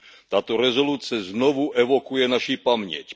Tato rezoluce znovu evokuje naši paměť.